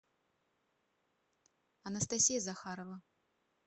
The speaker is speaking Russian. анастасия захарова